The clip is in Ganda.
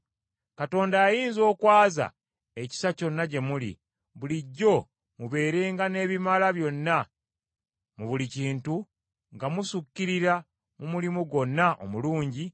Katonda ayinza okwaza ekisa kyonna gye muli, bulijjo mubeerenga n’ebibamala byonna mu buli kintu nga musukkirira mu mulimu gwonna omulungi,